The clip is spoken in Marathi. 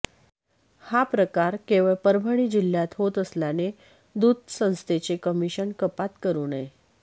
हा प्रकार केवळ परभणी जिल्ह्यात होत असल्याने दूध संस्थेचे कमिशन कपात करू नये